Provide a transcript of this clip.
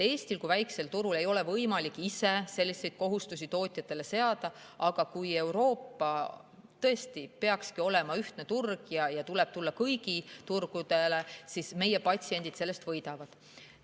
Eestil kui väikesel turul ei ole võimalik ise selliseid kohustusi tootjatele seada, aga kui Euroopa on ühtne turg – tõesti, ta peakski seda olema – ja tuleb tulla kõigi turgudele, siis meie patsiendid sellest võidavad.